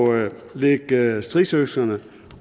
lægge stridsøkserne